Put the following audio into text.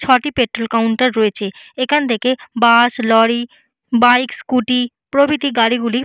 ছটি petrol counter রয়েছে এখান থেকে বাস লরি বাইক স্কুটি প্রভৃতি গাড়ি গুলি--